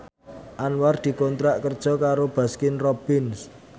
Anwar dikontrak kerja karo Baskin Robbins